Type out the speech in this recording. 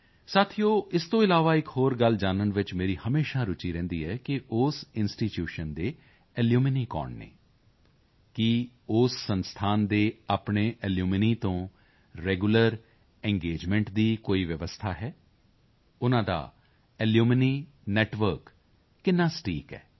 ਸਾਥੀਓ ਇਸ ਤੋਂ ਇਲਾਵਾ ਇੱਕ ਹੋਰ ਗੱਲ ਜਾਨਣ ਵਿੱਚ ਮੇਰੀ ਹਮੇਸ਼ਾ ਰੁਚੀ ਰਹਿੰਦੀ ਹੈ ਕਿ ਉਸ ਇੰਸਟੀਟਿਊਸ਼ਨ ਦੇ ਅਲੂਮਨੀ ਕੌਣ ਹਨ ਕੀ ਉਸ ਸੰਸਥਾਨ ਦੇ ਆਪਣੇ ਅਲੂਮਨੀ ਤੋਂ ਰੈਗੂਲਰ ਇੰਗੇਜਮੈਂਟ ਦੀ ਕੋਈ ਵਿਵਸਥਾ ਹੈ ਉਨ੍ਹਾਂ ਦਾ ਅਲੂਮਨੀ ਨੈੱਟਵਰਕ ਕਿੰਨਾ ਸਟੀਕ ਹੈ